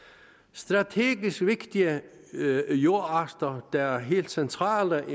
strategisk vigtige jordarter der er helt centrale